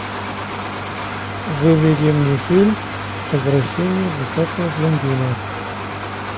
выведи мне фильм возвращение высокого блондина